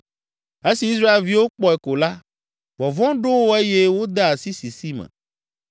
Esi Israelviwo kpɔe ko la, vɔvɔ̃ ɖo wo eye wode asi sisi me.